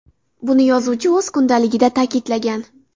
Buni yozuvchi o‘z kundaligida ta’kidlagan.